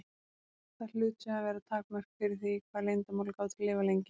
Það hlutu að vera takmörk fyrir því hvað leyndarmál gátu lifað lengi.